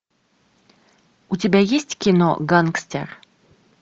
у тебя есть кино гангстер